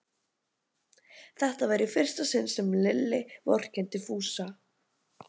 Þetta var í fyrsta sinn sem Lilla vorkenndi Fúsa.